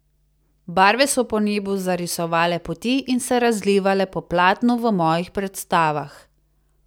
Barve so po nebu zarisovale poti in se razlivale po platnu v mojih predstavah.